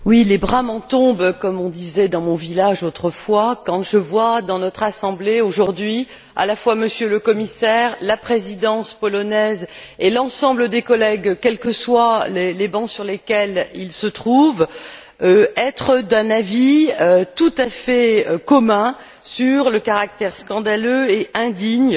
Monsieur le Président, oui, les bras m'en tombent, comme on disait dans mon village autrefois, quand je vois dans notre assemblée aujourd'hui, à la fois Monsieur le Commissaire, la Présidence polonaise et l'ensemble des collègues, quels que soient les bancs sur lesquels ils se trouvent, être tout à fait du même avis sur le caractère scandaleux et indigne